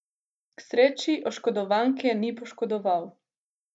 K sreči oškodovanke ni poškodoval.